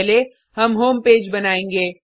पहले हम home page बनाएंगे